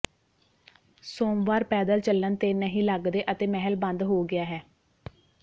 ਸੋਮਵਾਰ ਪੈਦਲ ਚੱਲਣ ਤੇ ਨਹੀਂ ਲੱਗਦੇ ਅਤੇ ਮਹਿਲ ਬੰਦ ਹੋ ਗਿਆ ਹੈ